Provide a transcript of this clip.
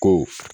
Ko